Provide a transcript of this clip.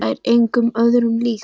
Það er engu öðru líkt.